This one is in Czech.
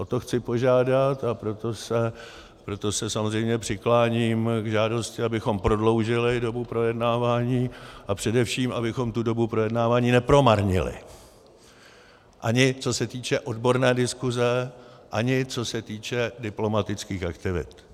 O to chci požádat, a proto se samozřejmě přikláním k žádosti, abychom prodloužili dobu projednávání a především abychom tu dobu projednávání nepromarnili, ani co se týče odborné diskuse, ani co se týče diplomatických aktivit.